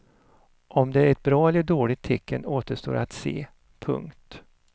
Om det är ett bra eller dåligt tecken återstår att se. punkt